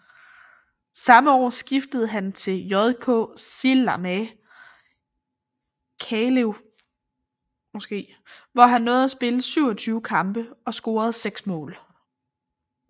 Samme år skiftede han til JK Sillamäe Kalev hvor han nåede at spille 27 kampe og score 6 mål